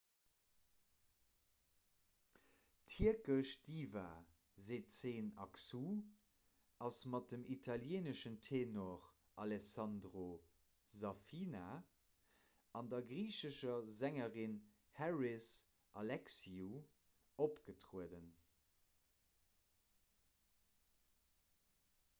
d'tierkesch diva sezen aksu ass mat dem italieeneschen tenor alessandro safina an der griichescher sängerin haris alexiou opgetrueden